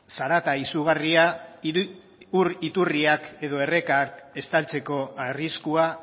zarata izugarria ur iturriak edo errekak estaltzeko arriskua